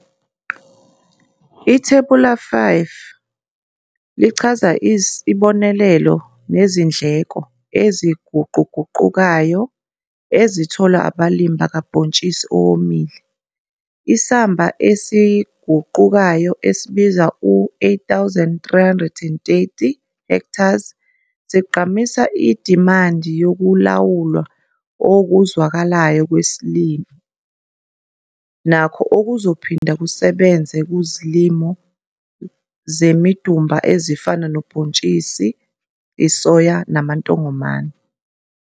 Ithebula 5 lichaza isibonelelo nezindleko eziguquguqukayo ezitholwa abalimi bakabhontshisi owomile. Isamba esiguqukayo esibiza u-R8330 hectares sigqamisa idimandi yokulawulwa okuzwakalayo kwesilimo, nakho okuzophinda kusebenze kuzilimo zemidumba ezifana nobhontshisi isoya namantongomane.